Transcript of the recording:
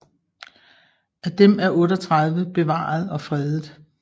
Af dem er 38 bevaret og fredet